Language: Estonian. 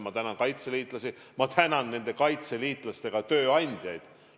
Ma tänan kaitseliitlasi, ma tänan ka nende kaitseliitlaste tööandjaid.